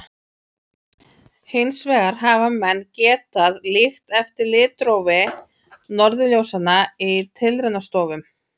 Hins vegar hafa menn getað líkt eftir litrófi norðurljósanna í tilraunastofum.